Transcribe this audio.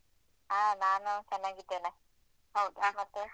ಆ ನಾನು ಚೆನ್ನಾಗಿದ್ದೇನೆ ಹೌದಾ ಮತ್ತೆ?